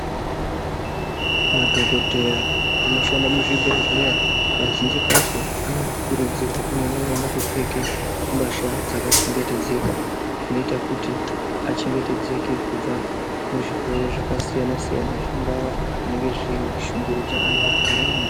Madhogodheya anoshanda muzvibhedhlera kazhinji kacho anokurudzirwe kunyanye kunyanye kupfeka mbatya dzakachengetedzeka, kuita kuti achengetedzeke kubva kuzvirwere zvakasiyana-siyana zvingava zvinenge zveishungurudza antu muntaraunda.